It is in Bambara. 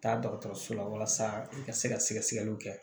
Taa dɔgɔtɔrɔso la walasa i ka se ka sɛgɛsɛgɛliw kɛ